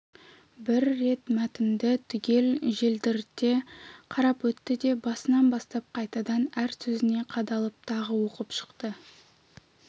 бір рет мәтінді түгел желдірте қарап өтті де басынан бастап қайтадан әр сөзіне қадалып тағы оқып шықты